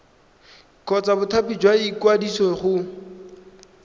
kgotsa bothati jwa ikwadiso go